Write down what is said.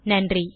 நன்றி